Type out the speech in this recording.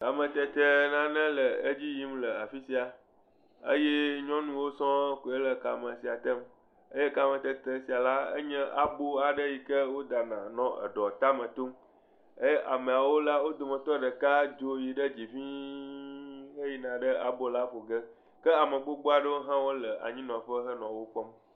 Kametete nane le edzi yim le afi sia eye nyɔnuwo sɔŋ koe le kame sia tem eye kame tete sia la nye abo aɖe yi ke wodana nɔ eɖɔ ta tom eye amea wo la, wo dometɔ ɖeka dzo yi dzi ŋii heyina ɖe abo la ƒo ƒe ke ame gbogbo aɖewo hã wole anyinɔƒe henɔ wo kpɔm.